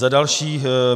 Za další.